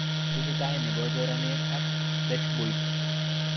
Tesetai nepo choranet ak dashboardit